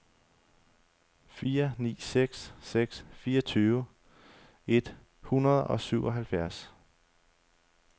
fire ni seks seks fireogtyve et hundrede og syvoghalvfjerds